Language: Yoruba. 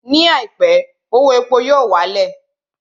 Ní àìpé, owó epo yóò wá lẹ̀